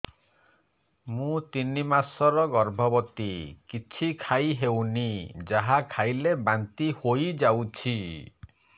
ମୁଁ ତିନି ମାସର ଗର୍ଭବତୀ କିଛି ଖାଇ ହେଉନି ଯାହା ଖାଇଲେ ବାନ୍ତି ହୋଇଯାଉଛି